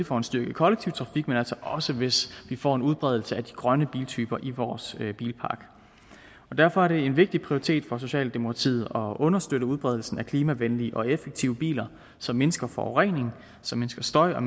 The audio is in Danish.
får en styrket kollektiv trafik men altså også hvis vi får en udbredelse af de grønne biltyper i vores bilpark derfor er det en vigtig prioritet for socialdemokratiet at understøtte udbredelsen af klimavenlige og effektive biler som mindsker forureningen som mindsker støjen og